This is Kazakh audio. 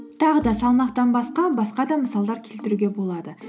тағы да салмақтан басқа басқа да мысалдар келтіруге болады